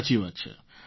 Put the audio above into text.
સાચી વાત છે